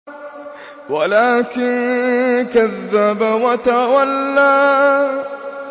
وَلَٰكِن كَذَّبَ وَتَوَلَّىٰ